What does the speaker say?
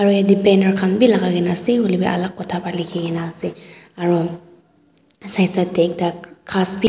yate banner khan bi lagai kena ase hoilebi alak kotha para likhikena ase aru side side te ekta khas bi.